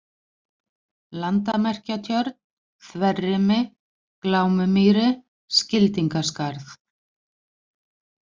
Landamerkjatjörn, Þverrimi, Glámumýri, Skildingaskarð